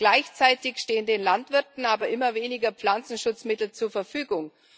Gleichzeitig stehen den Landwirten aber immer weniger Pflanzenschutzmittel zur Verfügung.